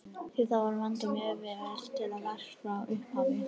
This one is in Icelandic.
Því þarf að vanda mjög vel til verks frá upphafi.